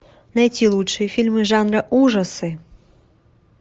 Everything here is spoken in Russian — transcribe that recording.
найти лучшие фильмы жанра ужасы